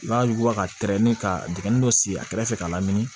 I b'a yuguba ka tɛrɛn ka dingɛ dɔ sigi a kɛrɛfɛ ka lamini